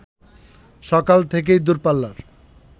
সকাল থেকেই দূরপাল্লার